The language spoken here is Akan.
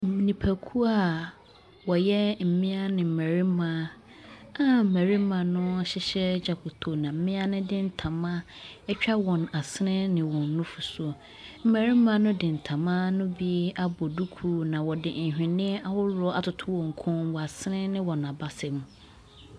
Nnipakuo ɔyɛ mmaa ne mmarima a mmarima no ahyehyɛ dwokoto na mmaa de ntoma atwa wɔn asene ne wɔn nufu so. Mmarima no de ntoma no bi abɔ duku na ɔde nhwenneɛ ahoroɔ atotɔ wɔn kɔn, wɔn asene ne wɔn abasa mu.